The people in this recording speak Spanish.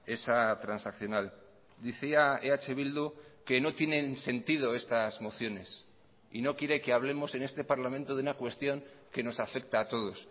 esa transaccional decía eh bildu que no tienen sentido estas mociones y no quiere que hablemosen este parlamento de una cuestión que nos afecta a todos